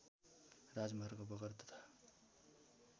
राजमार्ग बगर तथा